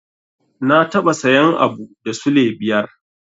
Na taɓa sayan abu da sule biyar.